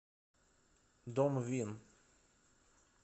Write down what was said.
домвин